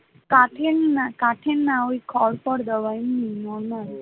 কাঠের না, কাঠের না ওই খড় টড় দেওয়া